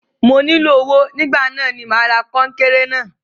Mo nílò owó nígbà náà ni mà ra kọńkéré náà.